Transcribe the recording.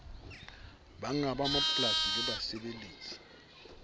bannga ba mapolasi le basebeletsi